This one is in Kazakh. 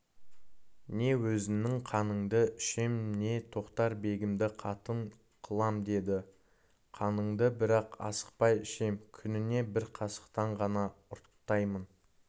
не өзіңнің қаныңды ішем не тоқтар-бегімді қатын қылам деді қаныңды бірақ асықпай ішем күніне бір қасықтан ғана ұрттаймын